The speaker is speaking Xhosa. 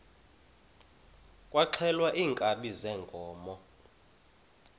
kwaxhelwa iinkabi zeenkomo